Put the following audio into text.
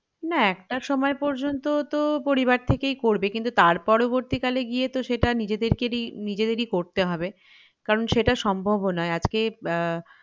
না একটা সময় পর্যন্ত তো পরিবার থেকেই করবে কিন্তু তার পরবর্তীকালে গিয়ে তো সেটা নিজেদেকেরই নিজেদেরই করতে হবে কারণ সেটা সম্ভব ও নই আজকে আহ